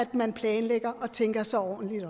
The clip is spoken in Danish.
man planlægger og tænker sig ordentligt om